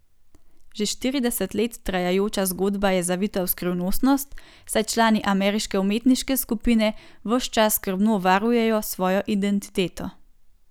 Že štirideset let trajajoča zgodba je zavita v skrivnostnost, saj člani ameriške umetniške skupine ves čas skrbno varujejo svojo identiteto.